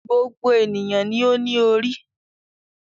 Gbogbo ènìyàn ni ó ní orí.